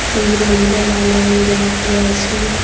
একজন মহিলার লাল রঙের জামা পড়ে আছে।